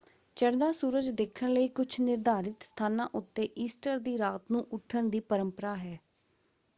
ਚੜ੍ਹਦਾ ਸੂਰਜ ਦੇਖਣ ਲਈ ਕੁਝ ਨਿਰਧਾਰਿਤ ਸਥਾਨਾਂ ਉੱਤੇ ਈਸਟਰ ਦੀ ਰਾਤ ਨੂੰ ਉੱਠਣ ਦੀ ਪਰੰਪਰਾ ਹੈ।